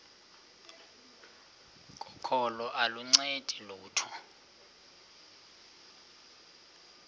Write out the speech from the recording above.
kokholo aluncedi lutho